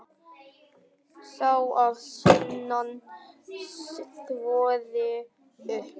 Sá að sunnan þvoði upp.